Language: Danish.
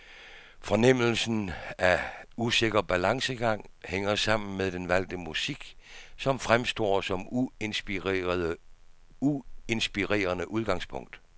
Fornemmelsen af usikker balancegang hænger sammen med den valgte musik, som fremstår som uinspirerende udgangspunkt.